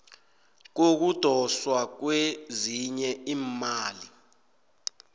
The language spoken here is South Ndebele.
kokudoswa kwezinye iimali